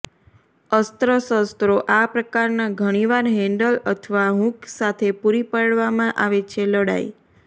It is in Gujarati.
અસ્ત્ર શસ્ત્રો આ પ્રકારના ઘણીવાર હેન્ડલ અથવા હૂક સાથે પૂરી પાડવામાં આવે છે લડાઇ